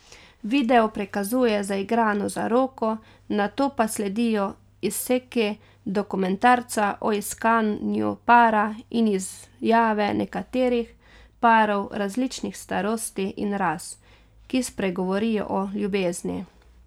Video prikazuje zaigrano zaroko, nato pa sledijo izseki dokumentarca o iskanju para in izjave nekaterih parov različnih starosti in ras, ki spregovorijo o ljubezni.